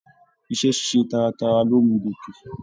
Iṣẹ ṣiṣe taratara lo mú gòke.